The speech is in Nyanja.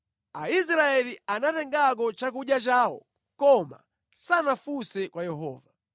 Aisraeli anatengako chakudya chawo koma sanafunse kwa Yehova.